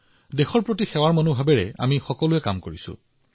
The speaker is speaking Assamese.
আমি সকলোৱে প্ৰতিটো মুহূৰ্তত সমৰ্পণেৰে দেশৰ সেৱাত কাম কৰিছো